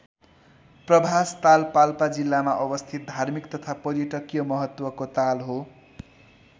प्रभास ताल पाल्पा जिल्लामा अवस्थित धार्मिक तथा पर्यटकीय महत्त्वको ताल हो।